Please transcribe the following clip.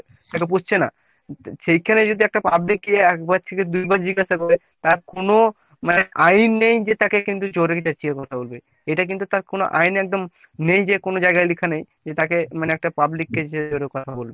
সে তো পুষছে না। সেখানে যদি একটা public গিয়ে একবার থেকে দুইবার জিজ্ঞাসা করে তার কোনো আইন নেই যে তাকে কিন্তু জোরে চেঁচিয়ে কথা বলবে। এটা কিন্তু তার কোনো আইন এ একদম নেই যে কোনো জায়গায় লেখা নেই যে তাকে মানেএকটা public কে এরম কথা বলবে।